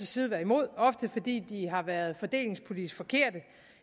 side været imod ofte fordi de har været fordelingspolitisk forkerte